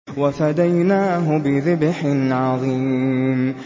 وَفَدَيْنَاهُ بِذِبْحٍ عَظِيمٍ